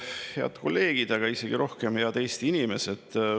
Head kolleegid, aga isegi rohkem head Eesti inimesed!